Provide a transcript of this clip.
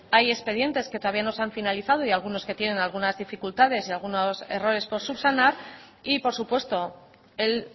hay expedientes que todavía no se han finalizado y algunos que tienen algunas dificultades y algunos errores por subsanar y por supuesto el